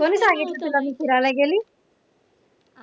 कोणी सांगितलं तुला मी फिरायला गेली